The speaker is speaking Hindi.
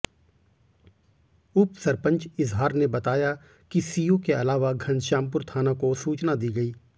उप सरपंच इजहार ने बताया कि सीओ के अलावा घनश्यामपुर थाना को सूचना दी गई